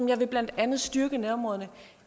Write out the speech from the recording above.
jeg vil blandt andet styrke nærområderne